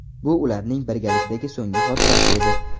Bu ularning birgalikdagi so‘nggi xotirasi edi.